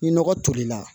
Ni nɔgɔ tolila